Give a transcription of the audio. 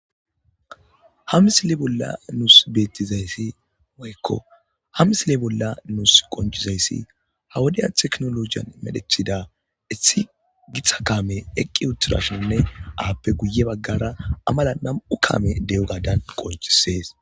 Hamisile bolla nuus beettizayssi moykko hamisile bolla nuus qoncizayssi hawudiya teknologiyan medhecthida issi gixa kaame eqqi utturashinne aappe guye baggara amala nam'u kaame de'o gadan qoncisees.